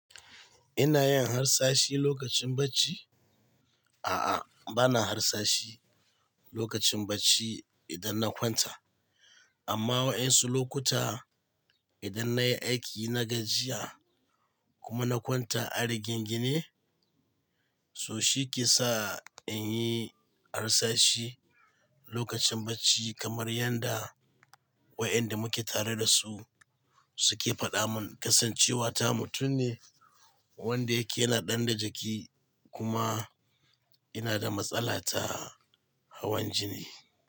Ina yin harsashi lokacin bacci? A'a, ba na harsashi lokacin bacci idan na kwanta. Amma waɗansu lokuta idan na yi aiki na gajiya kuma na kwanta a rigingine, so shi ke sa in yi harsashi lokacin bacci kamar yanda waɗanda muke tare da su suke faɗa mun kasance wata mutum ne wanda yake yana ɗan da jiki kuma ina da matsala ta hawan jini.